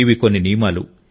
ఇవి కొన్ని నియమాలు